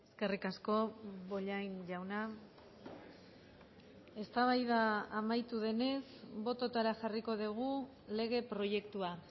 eskerrik asko bollain jauna eztabaida amaitu denez bototara jarriko dugu lege proiektua